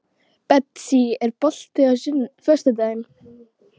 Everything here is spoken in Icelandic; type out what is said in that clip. Betsý, er bolti á föstudaginn?